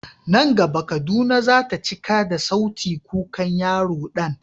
Nan gaba Kaduna za ta cika da sautin kukan yaro Dan.